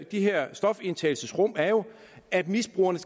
de her stofindtagelsesrum er jo at misbrugerne